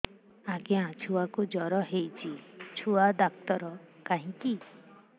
ଆଜ୍ଞା ଛୁଆକୁ ଜର ହେଇଚି ଛୁଆ ଡାକ୍ତର କାହିଁ କି